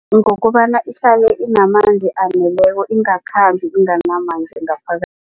Ngokobana ihlale inamanzi aneleko ingakhambi inganamamzi